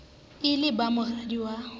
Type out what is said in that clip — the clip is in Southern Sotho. e le ba moradi wa